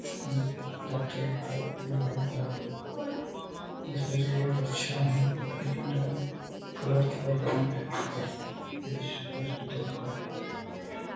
doctor Bharti Batra इस पे जरुरत अच्छा है लेकिन क्लर्क का डॉन है इस हॉस्पिटल का --